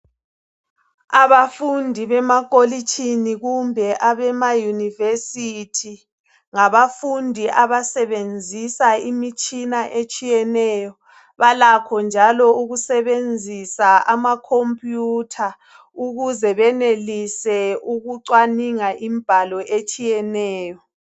Abafundi bemakolitshini kumbe abema yunivesithi ngabafundi abasebenzisa imitshina etshiyeneyo. Balakho njalo ukusebenzisa amakhomputha ukuze benelise ukucwaninga imbalo etshiyeneyo.